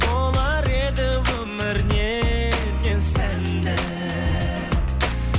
болар еді өмір неткен сәнді